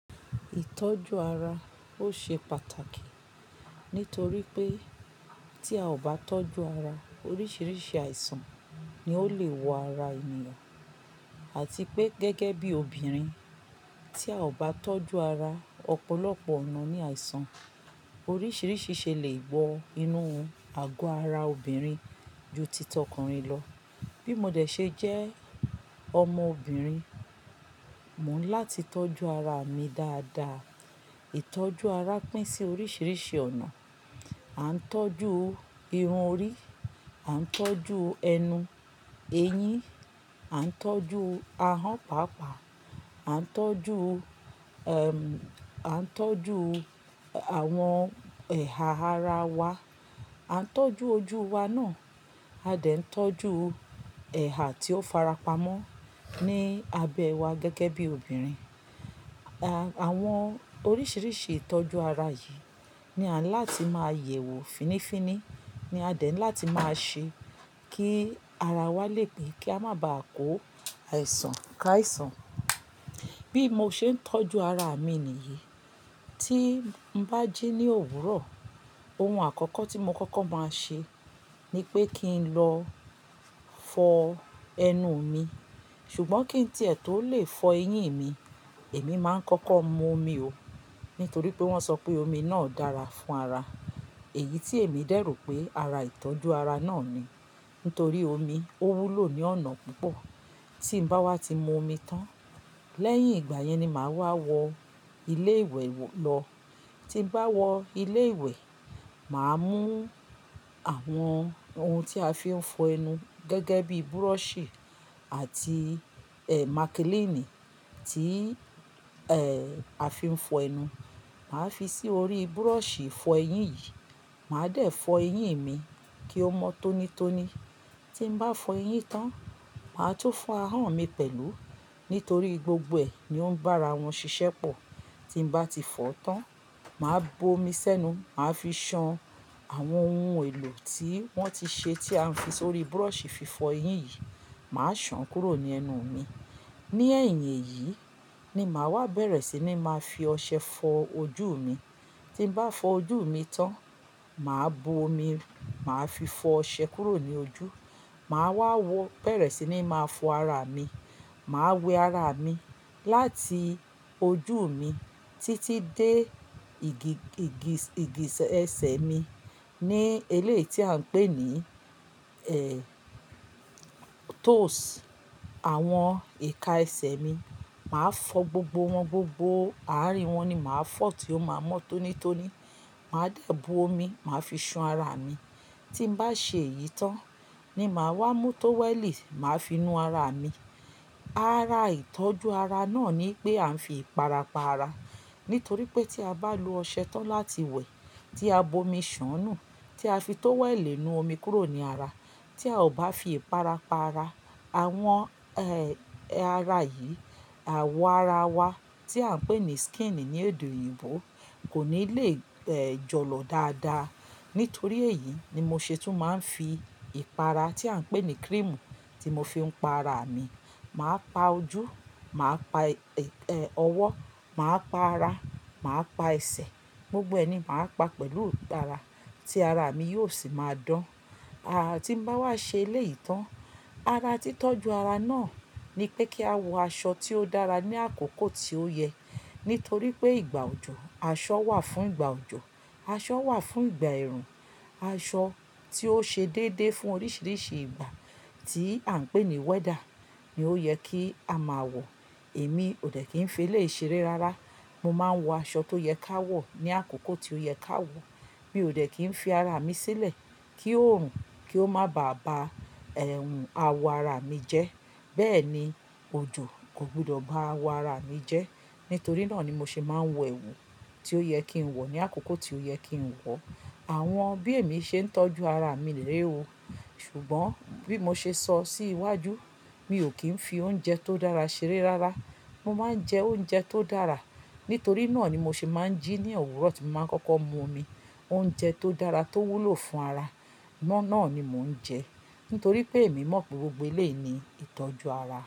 Ìtọ́jú ara ó ṣe pàtàkì nítorí pé tí a ò bá tọ́jú ara oríṣiríṣi àìsàn ni ó lè wọ ara ènìyàn àti pé gẹ́gẹ́ bí obìnrin tí a ò bá tọ́jú ara ọ̀pọ̀lọpọ̀ ọ̀nà ní àìsàn oríṣiríṣi ṣe lè wọ inú àgọ́ ara obìnrin ju ti t'ọkùnrin lọ. Bí mo de ṣe jẹ́ ọmọbìnrin, mò ń láti tọ́jú ara mi dáadáa. Ìtọ́jú ara pín sí oríṣiríṣi ọ̀nà. A ń tọ́jú irun orí, a ń tọ́jú ẹnu, eyín, a ń tọ́jú ahọ́n pàápàá, a ń tọ́jú, ẹm, a ń tọ́jú àwọn ẹ̀hà ara wa, a ń tọ́jú ojú wa náà, a dẹ̀ ń tọ́jú ẹ̀hà tí ó farapa mọ́ ní abẹ́ wa gẹ́gẹ́ bí obìnrin. Àwọn oríṣiríṣi ìtọ́jú ara yìí ni à ń láti máa yẹ̀wò fínnífínní, ni a dẹ̀ ń láti máa ṣe kí ara wa lè pé kí a má ba à kó àìsàn ká àìsàn. Bí mo ṣe ń tọ́jú ara mi nìyí, tí n bá jí ní òwúrọ̀ ohun àkọ́kọ́ tí mo kọ́kọ́ máa ṣe ni pé kí n lọ fọ ẹnu mi. Ṣùgbọ́n kí n tí ẹ̀ tó lè fọ eyín mi, èmi máa ń kọ́kọ́ mu omi ò. Nítorí pé wọ́n sọ pé omi náà dára fún ara. Èyí tí èmi dẹ̀ rò pé ara ìtọ́jú ara náà ni. Nítorí omi ó wúlò ní ọ̀nà púpọ̀. Tí n bá wá ti mu omi tán, lẹ́yìn ìgbà yẹn ni màá wá wọ ilé ìwẹ̀ lọ. Tí n bá wọ ilé ìwẹ̀, màá mú àwọn ohun tí a fi ń fọ ẹnu gẹ́gẹ́ bí búrọ̀ṣì àti, ẹ, mákílínì tí, ẹ́, a fi ń fọ ẹnu. Màá fi sí orí búrọ̀ṣì fọ eyín yìí. Màá dẹ̀ fọ eyín mi kí ó mọ tónítóní. Tí n bá fọ eyín tán, màá tún fọ ahọ́n mi pẹ̀lú nítorí gbogbo ẹ̀ ni ó ń bá ara wọn ṣiṣẹ́ pọ̀. Tí n bá ti fọ tán, màá bu omi sẹ́nu, màá fi ṣan àwọn ohun èlò tí wọ́n ti ṣe tí a fi sórí búrọ̀ṣì fi fọ eyín yìí, màá ṣàn kúrò ní ẹnu mi. Ni ẹ̀yìn èyí ni màá wá bẹ̀rẹ̀ sí ní máa fi ọṣẹ fọ ojú mi. Tí n bá fọ ojú mi tán, màá bo omi, màá fi fọ ọṣẹ kúrò ní ojú. Màá wá wọ bẹ̀rẹ̀ sí ní máa fọ ara mi. Màá wẹ ara mi láti ojú mi títí dé ìgi-ìgi-ìgìsẹ̀ mi ní eléyìí tí à ń pè ní, ẹ́, toes. Àwọn ìka ẹsẹ̀ mi, màá fọ gbogbo wọn gbogbo, àárín wọn ni màá fọ tí ó máa mọ́ tónítóní. Màá dẹ̀ bo omi, màá fi ṣan ara mi. Tí n bá ṣe èyí tán ni màá wá mú tówẹ́lì, màá fi nu ara mi. Ara ìtọ́jú ara náà ni pé a ń fi ìpara pa ara. Nítorí pé tí a bá lo ọṣẹ tán láti wẹ̀, tí a bo omi ṣàn-nù, tí a fi tówẹ́lì nu omi kúrò ní ara, tí a ò bá fi ìpara pa ara, àwọn, ẹ́, ara yìí, àwo ara wa tí à ń pè ní skin ní èdè òyìnbó kò ní lè, ẹ́, jọ̀lọ̀ dáadáa. Nítorí èyí ni mo ṣetún máa ń fi ìpara tí à ń pè ní kírímù tí mo fi ń pa ara mi. Màá pa ojú, màá pa, ẹ́, ọwọ́, màá pa ara, màá pa ẹsẹ̀, gbogbo ẹni màá pa pẹ̀lú ìpara tí ara mi yóò sì máa dán. Tí n bá wá ṣe eléyìí tán, ara títọ́jú ara náà ni pé kí a wọ aṣọ tí ó dára ní àkókò tí ó yẹ. Nítorí pé ìgbà òjò, aṣọ wà fún ìgbà òjò, aṣọ wà fún ìgbà ẹ̀rùn, aṣọ tí ó ṣe déédéé fún oríṣiríṣi ìgbà tí à ń pè ní weather ni ó yẹ kí a máa wọ. Èmi òdẹ̀ kí n fi eléyii ṣeré rárá. Mo máa ń wọ aṣọ tó yẹ ká wọ̀ ní àkókò tí ó yẹ ká wọ̀. Mi òdẹ̀ kí ń fi ara mi sílẹ̀ kí òòrùn kí ó má bàá ba ẹhùn awọ ara mi jẹ́. Bẹ́ẹ̀ ni òjò kò gbọdọ̀ bá awọ ara mi jẹ́. Nítorí náà ni mo ṣe máa ń wọ ẹ̀wù tí ó yẹ kí n wọ̀ ní àkókò tí ó yẹ kí n wọ̀. Àwọn bí èmi ṣe ń tọ́jú ara mi rèé o. Ṣùgbọ́n bí mo ṣe sọ sí iwájú, mi ò kí ń fi oúnjẹ tó dára ṣeré rárá. Mo máa ń jẹ oúnjẹ tó dára. Nítorí náà ni mo ṣe máa ń jí ní òwúrọ̀ tí mo máa ń kọ́kọ́ mu omi. Oúnjẹ tó dára tó wúlò fún ara, mọ́ náà ni mò ń jẹ. Nítorí pé èmi mọ̀ pe gbogbo eleyii ni ìtọ́jú ara.